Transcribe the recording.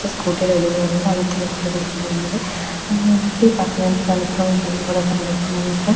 Scooty ready గా ఉన్నది. అలాగే తెలుగు రంగుది కూడా ఉన్నది అలాగే ఏంటంటే ఇక్కడ ఈ పక్కన నలుపు రంగు బండి కూడా కనిపిస్తుంది అన్నమాట.